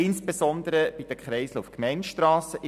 Das betrifft insbesondere die Kreisel auf Gemeindestrassen.